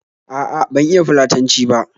A'a, ban iya Fulatanci ba